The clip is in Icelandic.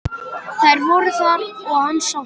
Þær voru þar og hann sá þær.